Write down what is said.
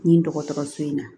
Nin dɔgɔtɔrɔso in na